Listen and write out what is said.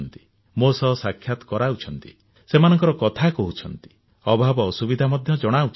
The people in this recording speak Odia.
ମୋର ସହ ସାକ୍ଷାତ କରାଉଛନ୍ତି ସେମାନଙ୍କ କଥା କହୁଛନ୍ତି ଅଭାବ ଅସୁବିଧା ମଧ୍ୟ ଜଣାଉଛନ୍ତି